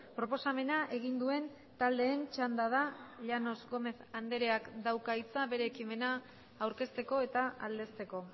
proposamena egin duen taldeen txanda da llanos gómez andreak dauka hitza bere ekimena aurkezteko eta aldezteko